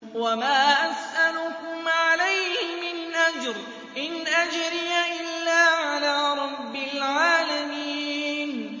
وَمَا أَسْأَلُكُمْ عَلَيْهِ مِنْ أَجْرٍ ۖ إِنْ أَجْرِيَ إِلَّا عَلَىٰ رَبِّ الْعَالَمِينَ